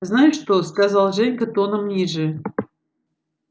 знаешь что сказал женька тоном ниже